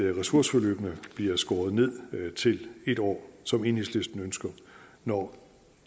ressourceforløbene bliver skåret ned til en år som enhedslisten ønsker når